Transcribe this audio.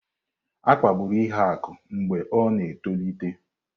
A kpagburu Ihuaku mgbe ọ na-etolite.